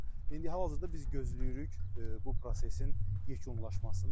İndi hal-hazırda biz gözləyirik bu prosesin yekunlaşmasını.